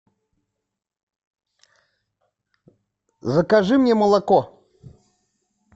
закажи мне молоко